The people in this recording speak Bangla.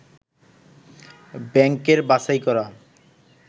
ব্যাংকের বাছাই করা